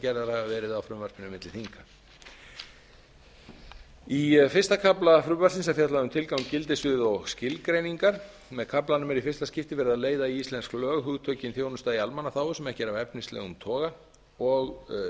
gerðar hafa verið á frumvarpinu milli þinga í fyrsta kafla frumvarpsins er fjallað um tilgang gildissvið og skilgreiningar með kaflanum var í fyrsta skipti verið að leiða í íslensk lög hugtökin þjónusta í almannaþágu sem ekki er af efnislegum toga og